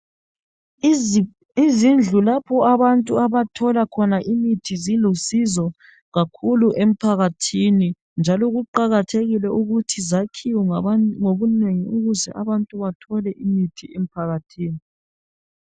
Izindlu lapho abantu abathola khona imithi zilusizo kakhulu emphakathini ,njalo kuqakathekile ukuthi zakhiwe ngabantu ngobunengi ukuze abantu bathole imithi emphakathini .